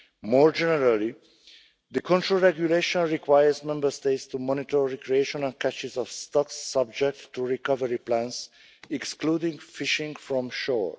More generally, the control regulation requires Member States to monitor recreational catches of stocks, subject to recovery plans, excluding fishing from shore.